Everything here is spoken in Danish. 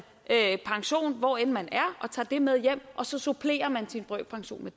pension hvor end man er og tager det med hjem og så supplerer man sin brøkpension med